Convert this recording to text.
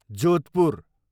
Jodhpur